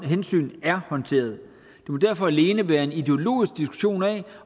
hensyn er håndteret det må derfor alene være en ideologisk diskussion af